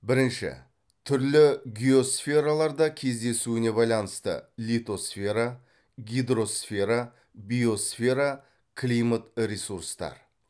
бірінші түрлі геосфераларда кездесуіне байланысты литосфера гидросфера биосфера климат ресурстар